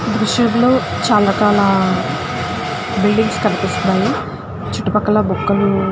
ఈ దృశ్యం లో చాలా చాలా బిల్డింగ్స్ కనిపిస్తున్నాయి చుట్టు పక్కల మొక్కలు --